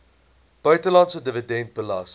buitelandse dividend belas